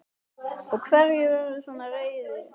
Og hverjir urðu svona reiðir?